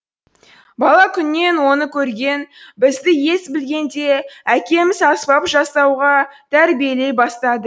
бала күннен оны көрген бізді ес білгенде әкеміз аспап жасауға тәрбиелей бастады